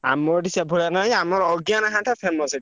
ଆମ ଏଠି ସେଭଳିଆ ନାଇଁ ଆମର ଅଜ୍ଞାନ ଘାଣ୍ଟ famous ଏଠି।